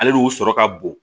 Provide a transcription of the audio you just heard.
Ale n'u sɔrɔ ka bon